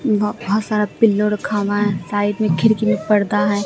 ब बहोत सारा पिल्लों रखा हुआ है साइड में खिड़की में पर्दा हैं।